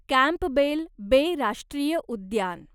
Campbell Bay राष्ट्रीय उद्यान